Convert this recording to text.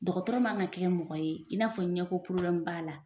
Dɔgɔtɔrɔ man ka kɛ mɔgɔ ye i n'a fɔ ɲɛko porobilɛmu b'a la